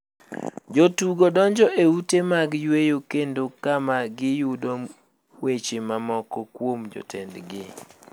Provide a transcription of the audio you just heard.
Jotudo donjo e ute mag yueyo kendo kama gi yude mweche mamoko kuom jotend gi.